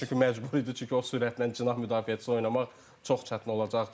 Çünki məcbur idi, çünki o sürətlə cinah müdafiəçisi oynamaq çox çətin olacaqdı.